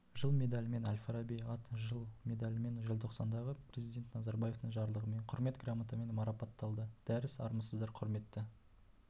жыл медалімен әл-фараби ат жыл медалімен желтоқсандағы президент назарбаевтың жарлығымен құрмет грамотамен марапатталды дәріс армысыздар құрметті